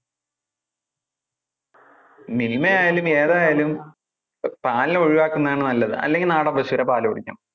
മിൽമ ആയാലും ഏതായാലും ആഹ് പാല് ഒഴിവാക്കുന്നത് ആണ് നല്ലത്, അല്ലെങ്കിൽ നാടൻ പശൂന്‍ടെ പാല് കുടിക്കണം.